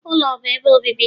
ụlọ bụ ebe obibi